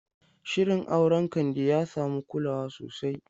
Shirin auren Kande ya samu kulawa sosai.